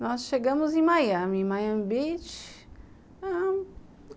Nós chegamos em Miami, Miami Beach.